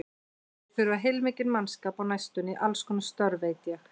Þeir þurfa heilmikinn mannskap á næstunni í allskonar störf, veit ég.